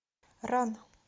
ран